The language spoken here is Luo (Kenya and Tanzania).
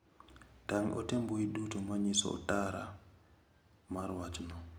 Tang' ote mbui duto manyiso otaro mar wachno.